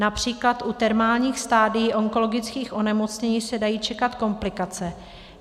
Například u terminálních stadií onkologických onemocnění se dají čekat komplikace.